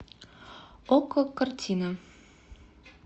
окко картина